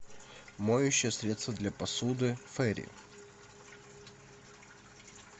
моющее средство для посуды ферри